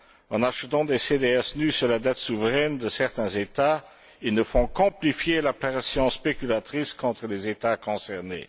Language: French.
En achetant des CDS nus sur la dette souveraine de certains États, ils ne font qu'amplifier la pression spéculatrice contre les États concernés.